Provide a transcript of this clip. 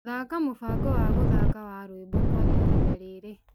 thaaka mũbango wa gũthaaka wa rwimbo kwa ihinda rĩrĩ